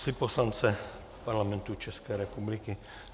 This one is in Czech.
Slib poslance Parlamentu České republiky.